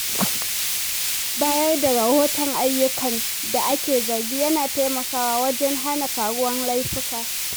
Bayar da rahoton ayyukan da ake zargi yana taimakawa wajen hana faruwar laifuka.